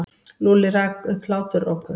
Lúlli rak upp hláturroku.